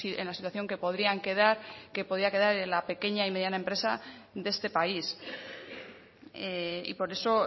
en la situación que podrían quedar que podría quedar en la pequeña y mediana empresa de este país y por eso